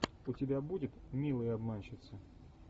у тебя будет милые обманщицы